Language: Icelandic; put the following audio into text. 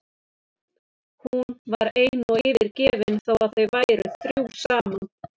Hún var ein og yfirgefin þó að þau væru þrjú saman.